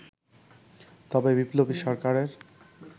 তবে বিপ্লবী সরকারের